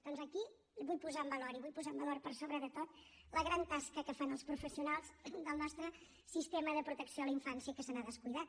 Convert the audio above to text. doncs aquí vull posar en valor i vull posar la en valor per sobre de tot la gran tasca que fan els professionals del nostre sistema de protecció a la infància que se n’ha descuidat